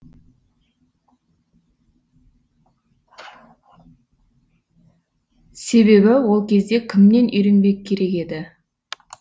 себебі ол кезде кімнен үйренбек керек еді